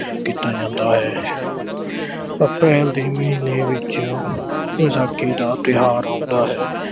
ਕੀਤਾ ਜਾਂਦਾ ਹੈ। April ਦੇ ਮਹੀਨੇ ਵਿੱਚ ਵਿਸਾਖੀ ਦਾ ਤਿਓਹਾਰ ਆਉਂਦਾ ਹੈ।